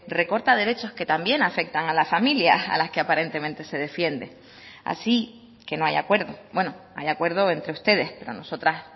recorta derechos que también afectan a las familias a las que aparentemente se defiende así que no hay acuerdo bueno hay acuerdo entre ustedes pero nosotras